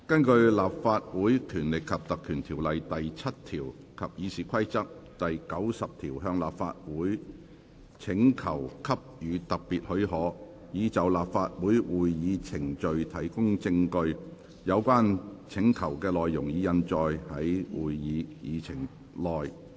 根據《立法會條例》第7條及《議事規則》第90條向立法會請求給予特別許可，以就立法會會議程序提供證據。有關請求的內容，已印載於會議議程內。